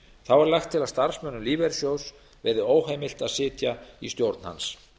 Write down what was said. þá er lagt til að starfsmönnum lífeyrissjóðs verði óheimilt að sitja í stjórn hans